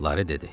Lare dedi.